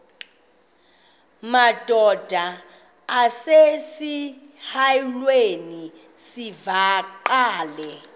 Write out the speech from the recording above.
madod asesihialweni sivaqal